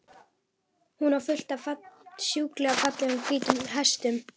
Hún á fullt af sjúklega fallegum, hvítum hestum.